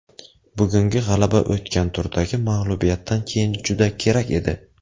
Bugungi g‘alaba o‘tgan turdagi mag‘lubiyatdan keyin juda kerak edi.